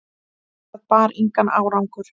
Það bar engan árangur.